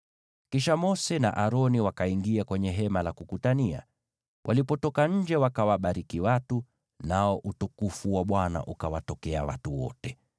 Kisha Mose na Aroni wakaingia kwenye Hema la Kukutania. Walipotoka nje, wakawabariki watu. Nao utukufu wa Bwana ukawatokea watu wote.